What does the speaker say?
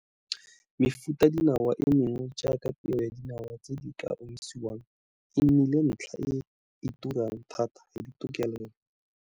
Mefutadinawa e mengwe jaaka peo ya dinawa tse di ka omisiwang e nnile ntlha e e turang thata ya ditokelelo.